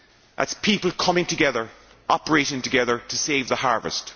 that is, people coming together, operating together to save the harvest.